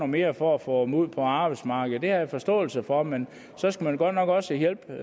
mere for at få dem ud på arbejdsmarkedet det har jeg forståelse for men så skulle man godt nok også hjælpe